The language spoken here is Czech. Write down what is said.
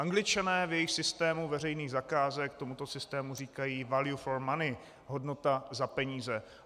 Angličané v jejich systému veřejných zakázek tomuto systému říkají value for money - hodnota za peníze.